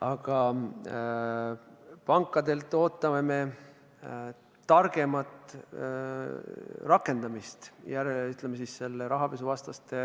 Aga pankadelt ootame me targemat süsteemide rakendamist rahapesuvastaste